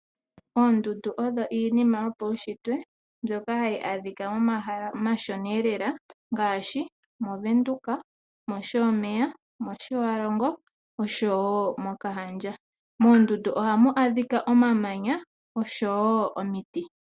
Oondundu odho iinima yopaunshitwe mbyoka hayi adhikwa momahala omashona lela ngaashi mOvenduka , mOshomeya , mOtjiwarongo oshowo mOkahandja . Moondundu ohamu adhikwa omamanya oshowo omiti .